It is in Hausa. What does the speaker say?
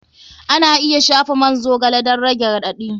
Ana iya shafa man zogale don rage raɗaɗi.